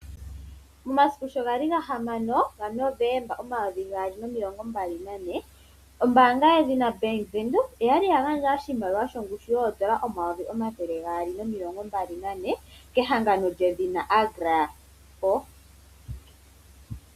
Momasiku sho ga li 6 Novomba 2024 ombaanga yedhina Bank Windhoek oyali ya gandja oshimaliwa shongushu yoondola omayovi omathele gaali nomilongo mbali na ne, kehangano lyedhina Agra.